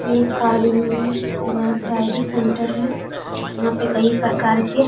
ये एक कार गाड़ ड्राइविंग सेंटर है यहाँ पे कई प्रकार के --